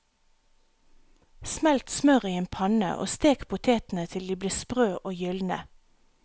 Smelt smør i en panne og stek potetene til de blir sprø og gylne.